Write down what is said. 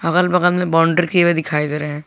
अगल बगल में बाउंड्री की हुए दिखाई दे रहे हैं।